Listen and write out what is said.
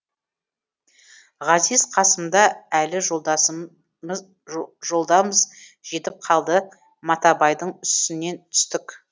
ғазиз қасымда әлі жолдамыз жетіп қалдық матабайдың үстінен түстік